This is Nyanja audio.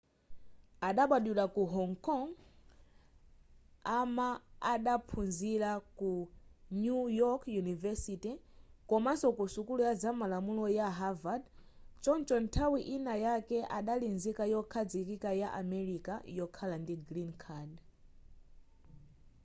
adabadwira ku hong kong a ma adaphunzira ku new york university komanso ku sukulu ya zamalamulo ya harvard choncho nthawi ina yake adali nzika yokhazikika ya america yokhala ndi green card